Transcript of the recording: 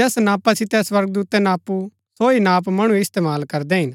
जैस नापा सितै स्वर्गदूतै नापु सो ही नाप मणु इस्तेमाल करदै हिन